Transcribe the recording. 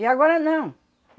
E agora não.